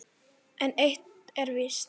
En eitt er víst